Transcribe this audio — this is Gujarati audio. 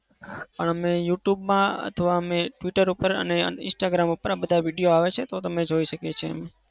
અમે youtube માં અથવા અમે twitter અને instagram પર આ બધા video આવે છે તો અમે જોઈ શકીએ છીએ.